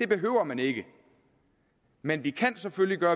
det behøver man ikke men vi kan selvfølgelig gøre